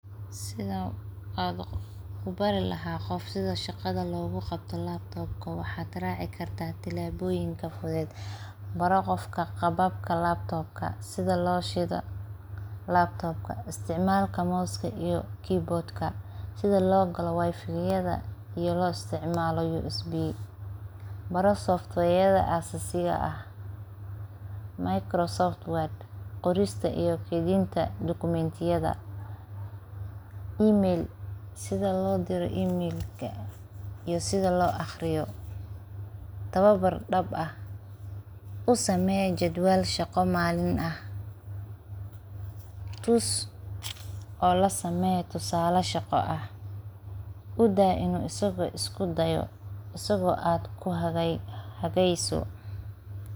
Sidhaa an ubari laha qof sidha shaqada logu qabta laptopka, waxad raci karta tilaboyinka fuded baro qofka qababka laptopka , sidha loo shidaa laptopka, isticmalka Mouseka iyo Keyboardka , sidha logala wifiyada iyo lo isticmala USB , baro softweyada asasiga ah microsoft word qorista iyo keydinta documentiyada. Email, sidha lodira emailka iyo sidha loo aqriyo , tawabar dab ah u samey jedwaal shaqo maalin ah, tus o lasamee jedwal tusale shaqo ah u daa inu asaga isku dayo asago aad ku hageyso .